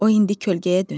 O indi kölgəyə dönüb.